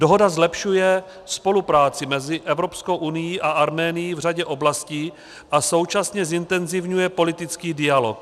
Dohoda zlepšuje spolupráci mezi Evropskou unií a Arménií v řadě oblastí a současně zintenzivňuje politický dialog.